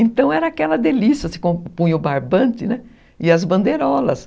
Então era aquela delícia, se compunha o barbante e as bandeirolas.